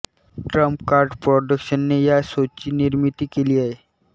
Trump Card प्रॉडक्शनने या शोची निर्मिती केली आहे